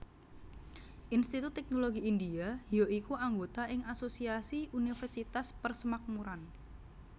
Institut Teknologi India ya iku anggota ing Asosiasi Universitas Persemakmuran